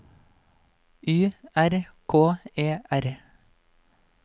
Y R K E R